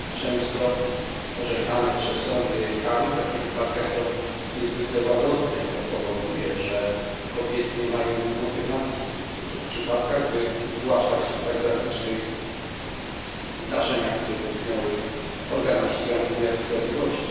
Często orzekane przez sądy kary w takich wypadkach są niezwykle łagodne, co powoduje, że kobiety nie mają motywacji w niektórych przypadkach, by zgłaszać o tak drastycznych zdarzeniach, które ich dotknęły, organom ścigania wymiaru sprawiedliwości.